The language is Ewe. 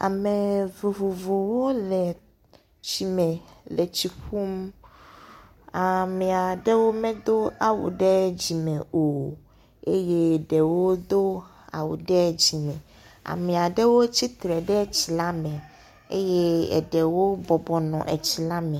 Ame vovovowo le tsi me le tsi ƒum. Ame aɖewo medo awu ɖe dzime o eye ɖewo do awu ɖe dzime. Ame aɖewo tsi tsitre ɖe tsi la me eye eɖewo bɔbɔ nɔ etsi la me.